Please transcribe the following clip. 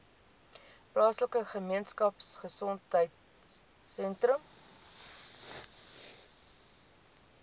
plaaslike gemeenskapgesondheid sentrum